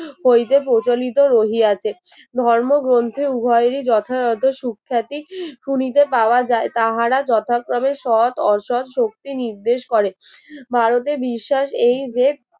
কইতে প্রচলিত রহিয়াছে ধর্মগ্রন্থে উভয়েরই যথাযথ সুখ্যাতি শুনিতে পাওয়া যায় তাহারা যথাক্রমে সৎ অসৎ শক্তি নির্দেশ করে ভারতে বিশ্বাস এই যে